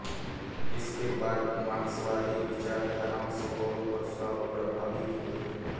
उसके बाद मार्क्सवादी विचारधाराओं से बहुत प्रभावित हुए